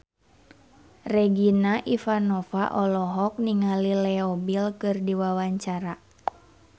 Regina Ivanova olohok ningali Leo Bill keur diwawancara